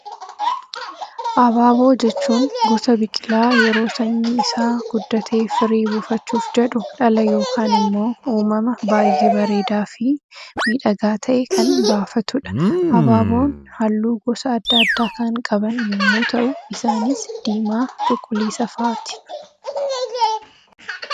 Abaaboo jechuun gosa biqilaa yeroo sanyiin isaa guddatee firii buufachuuf jedhu dhala yookaan immoo uumama baayyee bareedaa fi miidhagaa ta'e kan baafatudha. Abaaboon halluu gosa addaa addaa kan qaban yemmuu ta'u, isaanis diimaa, cuquliisa fa'aati.